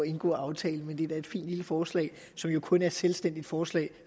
indgå aftalen men det er da et fint lille forslag som jo kun er et selvstændigt forslag